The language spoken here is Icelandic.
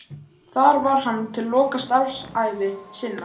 Þar var hann til loka starfsævi sinnar.